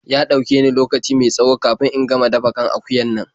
Ya ɗauke ni lokaci mai tsawo kafin in gama dafa kan akuyan nan.